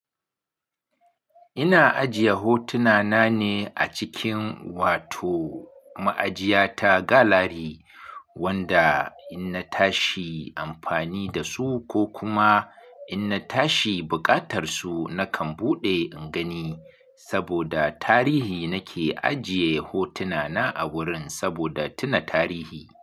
Ina ajiye hotuna na ne a cikin wato ma'ajiya ta galari wanda in na tashi amfani da su ko kuma in na tashi buƙatar su nakan buɗe in gani. Saboda tarihi nake ajiye hotuna na a wurin saboda tuna tarihi.